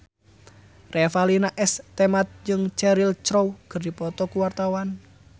Revalina S. Temat jeung Cheryl Crow keur dipoto ku wartawan